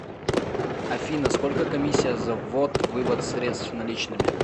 афина сколько комиссия за ввод вывод средств наличными